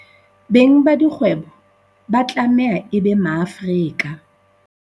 Beng ba dikgwebo ba tlameha e be Maafrika